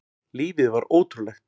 Lífið var ótrúlegt.